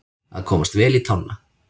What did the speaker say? Að komast vel í tána